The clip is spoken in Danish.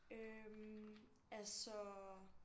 Øh altså